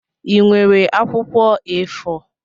Ị nwere akwụkwọ A4?